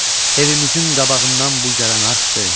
Evimizin qabağından bu gələn arxdı.